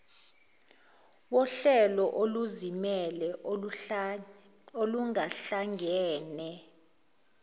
wohlelo oluzimele olungahlangene